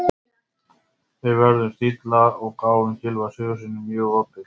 Við vörðumst illa og gáfum Gylfa Sigurðssyni mjög opið færi.